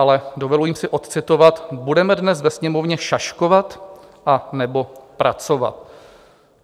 Ale dovolím si odcitovat: Budeme dnes ve Sněmovně šaškovat, anebo pracovat?